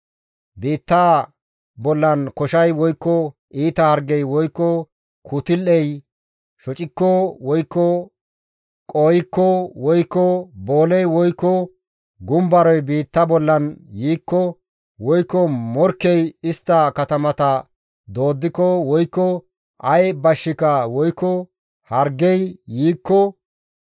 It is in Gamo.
«Biittaa bollan koshay woykko iita hargey, woykko kutul7ey shocikko woykko qooykko, woykko booley, woykko gumbaroy biitta bollan yiikko, woykko morkkey istta katamata dooddiko, woykko ay bashshika woykko hargey yiikko,